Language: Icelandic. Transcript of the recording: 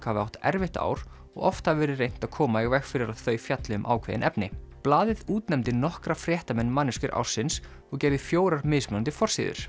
hafi átt erfitt ár og oft hafi verið reynt að koma í veg fyrir að þau fjalli um ákveðin efni blaðið útnefndi nokkra fréttamenn manneskjur ársins og gerði fjórar mismunandi forsíður